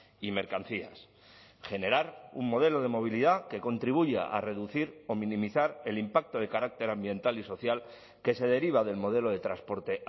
y mercancías generar un modelo de movilidad que contribuya a reducir o minimizar el impacto de carácter ambiental y social que se deriva del modelo de transporte